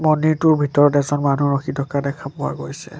মন্দিৰটোৰ ভিতৰত এজন মানুহ ৰখি থকা দেখা পোৱা গৈছে।